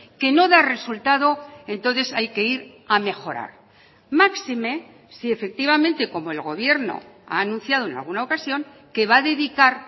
que no da resultado entonces hay que ir a mejorar máxime si efectivamente como el gobierno ha anunciado en alguna ocasión que va a dedicar